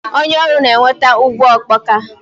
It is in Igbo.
Onye ọrụ na-eweta ngwa ọkpọka.